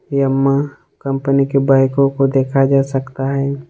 यम्मा कंपनी के बाईकों को देखा जा सकता है।